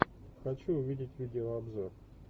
хочу увидеть видеообзор